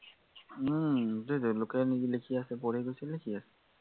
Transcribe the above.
উম সেইটোৱেইতো লোকে লিখি আছে পঢ়ি গৈছিলে লিখি আছে